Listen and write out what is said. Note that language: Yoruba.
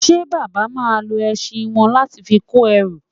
Ṣe Bàbá máa lo ẹṣin wọn láti fi kó ẹrù?